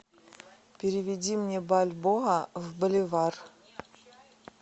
переведи мне бальбоа в боливар